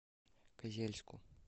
козельску